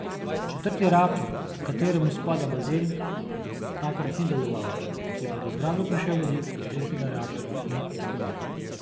Četrti reaktor, h kateremu spada bazen, takrat ni deloval, je pa v zgradbo prišel vodik iz tretjega reaktorja in eksplodiral.